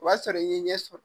O b'a sɔrɔ i ye ɲɛ sɔrɔ